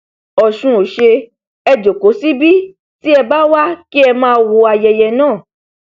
ọsùn ọsẹ ẹ jókòó síbi tí ẹ bá wá kí ẹ máa wo ayẹyẹ náà